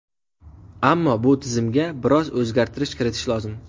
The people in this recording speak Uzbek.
Ammo bu tizimga biroz o‘zgartirishlar kiritish lozim.